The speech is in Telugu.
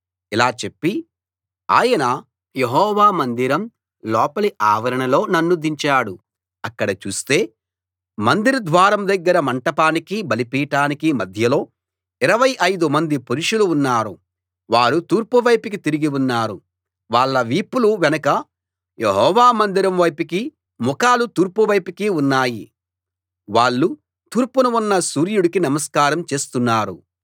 ఇలా చెప్పి ఆయన యెహోవా మందిరం లోపలి ఆవరణలో నన్ను దించాడు అక్కడ చూస్తే మందిర ద్వారం దగ్గర మంటపానికీ బలిపీఠానికీ మధ్యలో ఇరవై ఐదు మంది పురుషులు ఉన్నారు వారు తూర్పు వైపుకి తిరిగి ఉన్నారు వాళ్ళ వీపులు వెనుక యెహోవా మందిరం వైపుకీ ముఖాలు తూర్పు వైపుకీ ఉన్నాయి వాళ్ళు తూర్పున ఉన్న సూర్యుడికి నమస్కారం చేస్తున్నారు